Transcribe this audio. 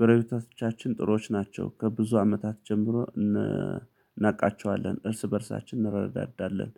ገረቤታቶችን ጥሩዎች ናቸው ከብዙ አመታት ጀምሮ እናቃቸዋለን እርስ በእርሳችን እንረዳዳለን